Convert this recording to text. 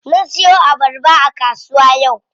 Mun siyo abarba a kasuwa yau.